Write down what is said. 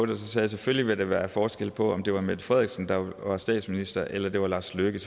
der selvfølgelig ville være forskel på om det var mette frederiksen der var statsminister eller det var lars løkke